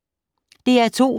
DR2